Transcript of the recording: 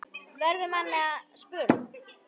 verður manni að spurn.